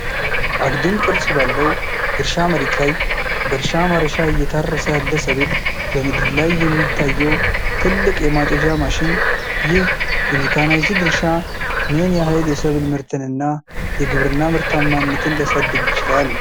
አግድም ቅርጽ ባለው የእርሻ መሬት ላይ በእርሻ ማረሻ እየታረሰ ያለ ሰብል፣ በምድር ላይ የሚታየው ትልቅ የማጨጃ ማሽን፣ ይህ የሜካናይዝድ እርሻ ምን ያህል የሰብል ምርትንና የግብርና ምርታማነትን ሊያሳድግ ይችላል?